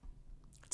TV 2